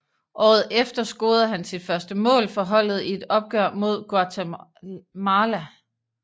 Året efter scorede han sit første mål for holdet i et opgør mod Guatemala